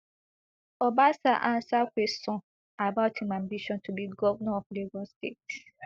obasa answer kwesion about im ambition to be governor of lagos state